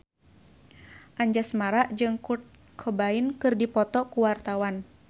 Anjasmara jeung Kurt Cobain keur dipoto ku wartawan